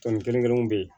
Tɔni kelen kelenw be yen